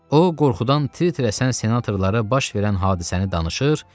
O, qorxudan tir-tir əsən senatorlara baş verən hadisəni danışır,